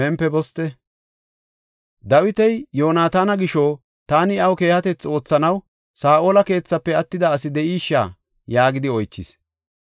Dawiti, “Yoonatana gisho taani iyaw keehatethi oothanaw Saa7ola keethafe attida asi de7isha?” yaagidi oychis.